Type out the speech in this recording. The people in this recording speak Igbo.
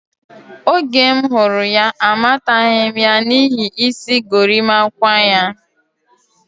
Oge m hụrụ ya, amataghi ya n'ihi isi gorimakwa ya.